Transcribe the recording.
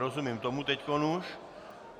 Rozumím tomu teď už.